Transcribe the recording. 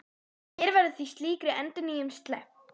Hér verður því slíkri endurnýjun sleppt.